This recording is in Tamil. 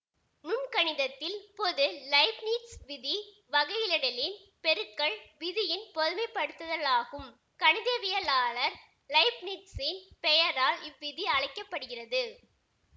நுண்கணிதத்தில் பொது லைப்னிட்ஸ் விதி வகையிடலின் பெருக்கல் விதியின் பொதுமைப்படுத்தலாகும் கணிதவியலாளர் லைப்னிட்சின் பெயரால் இவ்விதி அழைக்க படுகிறது